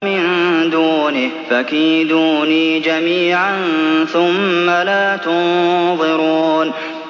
مِن دُونِهِ ۖ فَكِيدُونِي جَمِيعًا ثُمَّ لَا تُنظِرُونِ